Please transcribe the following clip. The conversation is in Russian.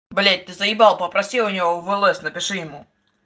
блять ты заебал попроси у него в лс напиши ему